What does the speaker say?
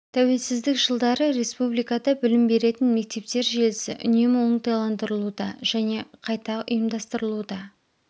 тәуелсіздік жылдары республикада білім беретін мектептер желісі үнемі оңтайландырылуда және қайта ұйымдастырылуда